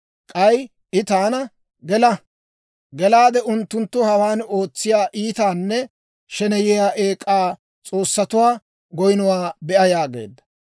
K'ay I taana, «Gela; unttunttu hawaan ootsiyaa iitanne sheneyiyaa eek'aa s'oossatuwaa goynnuwaa be'a» yaageedda.